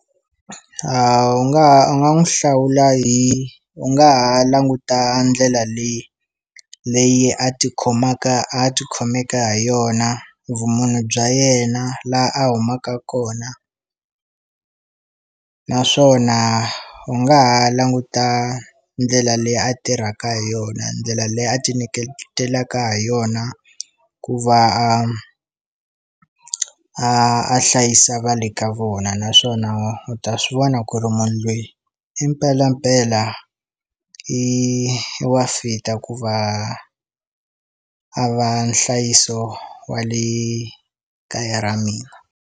A wu nga u nga n'wu hlawula hi u nga ha languta ndlela leyi leyi a tikhomaka a ti khomeke ha yona vumunhu bya yena la a humaka kona naswona u nga ha languta ndlela leyi a tirhaka hi yona ndlela leyi a ti niketelaka ha yona ku va a a a hlayisa va le ka vona naswona u ta swi vona ku ri munhu loyi i mpelampela i wa fit-a ku va a va nhlayiso wa le kaya ra mina.